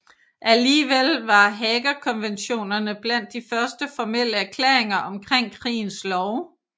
Alligevel var Haagerkonventionerne blandt de første formelle erklæringer om krigens love